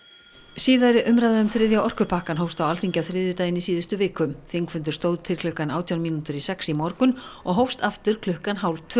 síðari umræða um þriðja orkupakkann hófst á Alþingi á þriðjudaginn í síðustu viku þingfundur stóð til klukkan átján mínútur í sex í morgun og hófst aftur klukkan hálftvö